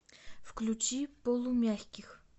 включи полумягких